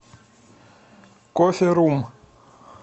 кофе рум